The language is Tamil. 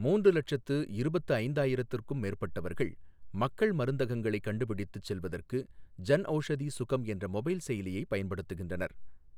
மூன்று லட்சத்து இருபத்து ஐந்தாயிரத்துக்கும் மேற்பட்டவர்கள் மக்கள் மருந்தகங்களை கண்டுபிடித்துச் செல்வதற்கு ஜன்ஔஷதி சுகம் என்ற மொபைல் செயலியை பயன்படுத்துகின்றனர்